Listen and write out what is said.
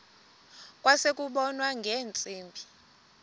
kwase kubonwa ngeentsimbi